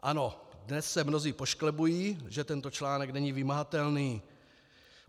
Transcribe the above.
Ano, dnes se mnozí pošklebují, že tento článek není vymahatelný.